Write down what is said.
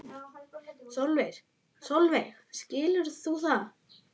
Sólveig: Skilur þú það?